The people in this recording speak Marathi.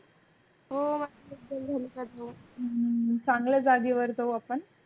हम्म चांगल्या जागे वर जाऊ आपण